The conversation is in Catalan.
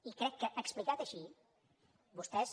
i crec que explicat així vostès